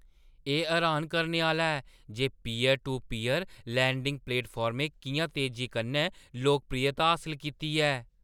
एह् हैरान करने आह्‌ला ऐ जे पीयर-टू-पीयर लैंडिंग प्लेटफार्में किʼयां तेजी कन्नै लोकप्रियता हासल कीती ऐ।